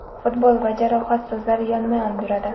Futbol va jarohat so‘zlari yonma-yon yuradi.